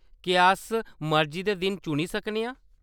क्या अस मर्जी दे दिन चुनी सकने आं ?